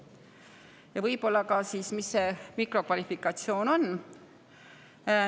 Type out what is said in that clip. ka, mis see mikrokvalifikatsioon on.